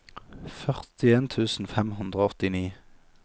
førtien tusen fem hundre og åttini